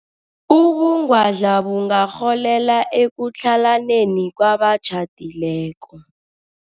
Ubungwadla bungarholela ekutlhalaneni kwabatjhadileko.